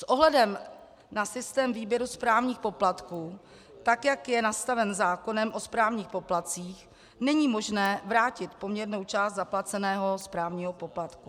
S ohledem na systém výběru správních poplatků, tak jak je nastaven zákonem o správních poplatcích, není možné vrátit poměrnou část zaplaceného správního poplatku.